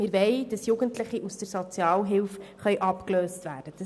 Wir wollen, dass Jugendliche aus der Sozialhilfe abgelöst werden können.